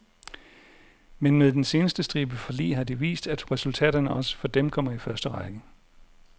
Men med den seneste stribe forlig har de vist, at resultaterne også for dem kommer i første række.